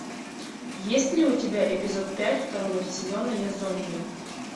есть ли у тебя эпизод пять второго сезона я зомби